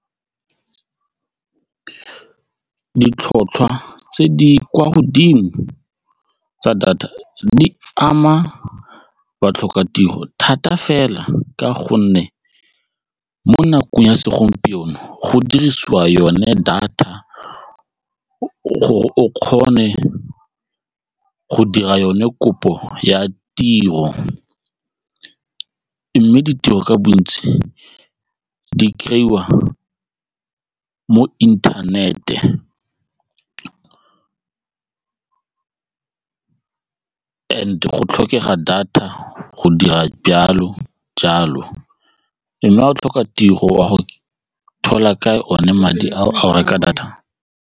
Ditlhotlhwa tse di kwa godimo tsa data di ama batlhokatiro thata fela ka gonne mo nakong ya segompieno go dirisiwa yone data o kgone go dira yone kopo ya tiro mme ditiro ka bontsi di kry-iwa wa mo internet-e go tlhokega data go dira jalo mme ga go tlhoka tiro wa go thola kae one madi a go reka data.